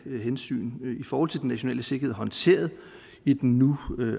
hensyn i forhold til den nationale sikkerhed håndteret i den nu